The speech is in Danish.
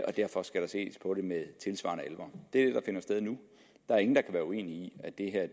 og derfor skal der ses på det med tilsvarende alvor det er det der finder sted nu der er ingen der kan være uenige i at det her